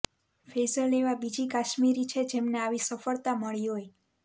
ફૈઝલ એવા બીજી કાશ્મીરી છે જેમને આવી સફળતા મળી હોય